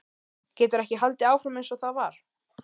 Getur ekki haldið áfram einsog það var.